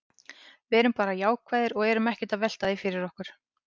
Við erum bara jákvæðir og erum ekkert að velta því fyrir okkur.